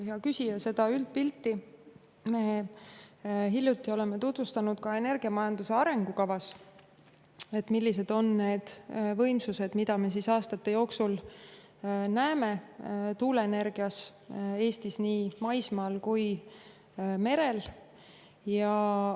Hea küsija, seda üldpilti oleme me hiljuti tutvustanud energiamajanduse arengukavas: millised on tuuleenergia võimsused, mida me Eestis aastate jooksul nägema hakkama nii maismaal kui ka merel.